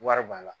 Wari b'a la